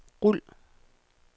rul